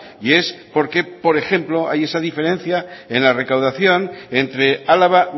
y es por qué por ejemplo hay esa diferencia en la recaudación entre álava